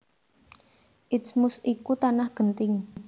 Isthmus iku tanah genting